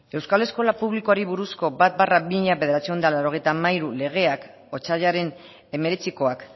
euskal eskola publikoari buruzko bat barra mila bederatziehun eta laurogeita hamairu legeak otsailaren hemeretzikoak